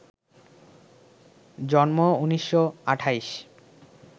জন্ম ১৯২৮